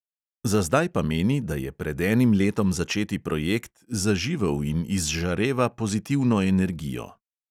Za zdaj pa meni, da je pred enim letom začeti projekt zaživel in izžareva pozitivno energijo.